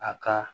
A ka